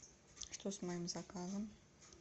что с моим заказом